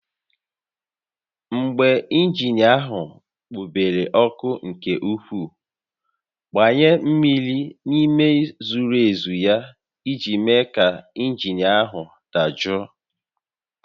Mgbe injin ahụ kpobere ọkụ nke ukwuu, gbanye mmiri n'ime zuru ezu ya iji mee ka injin ahụ dajụọ